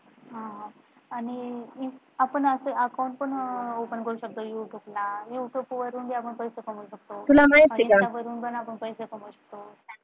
हा आणि आपण असं Account पण असं Open करू शकतो, google, you tube करून पण आपण पैसे कमावू शकतो, तुला माहित्ये का? पण आपण पैसे कमाऊ शकतो.